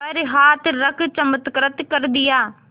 पर हाथ रख चमत्कृत कर दिया